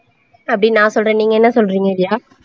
அப்படின்னு நான் சொல்கிறேன் நீங்க என்ன சொல்றீங்க ரியா?